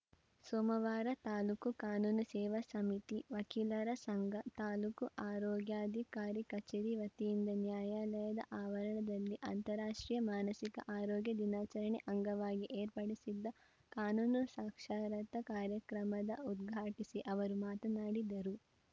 ಸೋಮವಾರ ತಾಲೂಕು ಕಾನೂನು ಸೇವಾ ಸಮಿತಿ ವಕೀಲರ ಸಂಘ ತಾಲೂಕು ಆರೋಗ್ಯಾಧಿಕಾರಿ ಕಚೇರಿ ವತಿಯಿಂದ ನ್ಯಾಯಾಲಯದ ಆವರಣದಲ್ಲಿ ಅಂತಾರಾಷ್ಟ್ರೀಯ ಮಾನಸಿಕ ಆರೋಗ್ಯ ದಿನಾಚರಣೆ ಅಂಗವಾಗಿ ಏರ್ಪಡಿಸಿದ್ದ ಕಾನೂನು ಸಾಕ್ಷರತಾ ಕಾರ್ಯಕ್ರಮದ ಉದ್ಘಾಟಿಸಿ ಅವರು ಮಾತನಾಡಿದರು